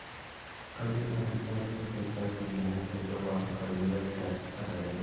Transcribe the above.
kayieu naaji natum licence aai amu aidipa atayiolo aterewisho